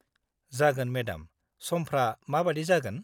जागोन, मेडाम, समफ्रा माबायदि जागोन?